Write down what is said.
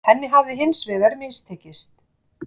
Henni hafi hins vegar mistekist